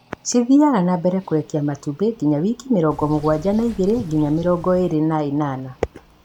cithiaga na mbere kũrekia matumbĩ nginya wiki mĩrongo mũgwanja na igĩrĩ nginya mĩrongo ĩiri na ĩnana.